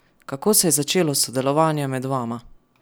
Kako se je začelo sodelovanje med vama?